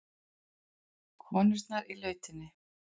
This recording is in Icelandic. Konurnar í lautinni.